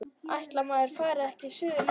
Ætli maður fari ekki suður líka.